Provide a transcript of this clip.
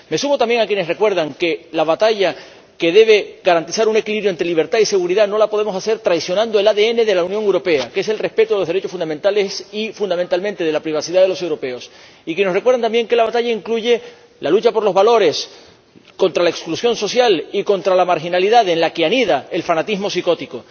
Me sumo también a quienes recuerdan que la batalla, que debe garantizar un equilibrio entre libertad y seguridad, no la podemos librar traicionando el ADN de la Unión Europea, que es el respeto a los derechos fundamentales y fundamentalmente de la privacidad de los europeos y a quienes nos recuerdan también que la batalla incluye la lucha por los valores, contra la exclusión social y contra la marginalidad, en la que anida el fanatismo psicótico.